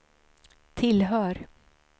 tillhör